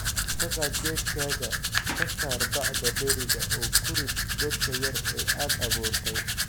"Ka qaad geedkaaga, ka saar bacda dheriga oo ku rid godka yar ee aad abuurtay."